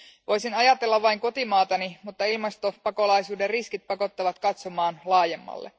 Voisin ajatella vain kotimaatani, mutta ilmastopakolaisuuden riskit pakottavat katsomaan laajemmalle.